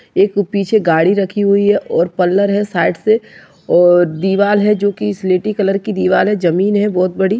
एक पीछे गाड़ी रखी हुई है और पल्लर है साइड से और दीवार है जोकि स्लेटी कलर की दीवार है जमीन है बहुत बड़ी।